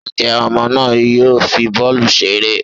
njẹ ọmọ náà yoo fí bọọlu ṣeré?